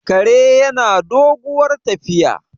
kare yana doguwar tafiya